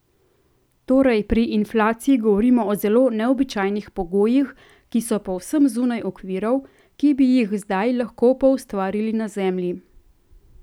Torej pri inflaciji govorimo o zelo neobičajnih pogojih, ki so povsem zunaj okvirov, ki bi jih kdaj lahko poustvarili na Zemlji.